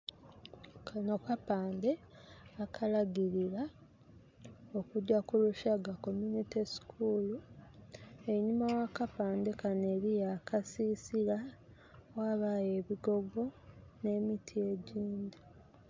Kanho kapandhe akalagirira okugya ku Rushaka komyunite sukuulu einhuma gha kapandhe kanho eriyo akasisira ghabayo ebigogo nhe miti egindhi.